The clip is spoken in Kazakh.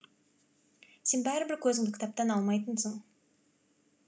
сен бәрібір көзіңді кітаптан алмайтынсың